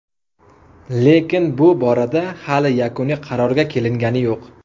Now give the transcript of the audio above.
Lekin bu borada hali yakuniy qarorga kelingani yo‘q.